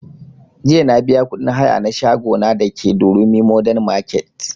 Jiya na biya kuɗin haya na shago na da ke durumi modern market